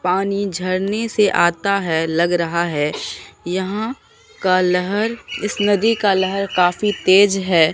पानी झरने से आता है लग रहा है यहां का लहर इस नदी का लहर काफ़ी तेज है।